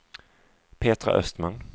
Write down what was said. Petra Östman